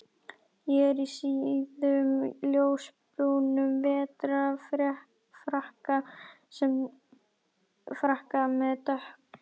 Ég er í síðum ljósbrúnum vetrarfrakka með dökk